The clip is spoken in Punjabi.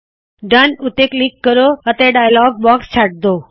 ਡੋਨ ਉੱਤੇ ਕਲਿੱਕ ਕਰੋ ਤੇ ਡਾਯਲੌਗ ਬਾਕਸ ਛੱਡ ਦਵੋ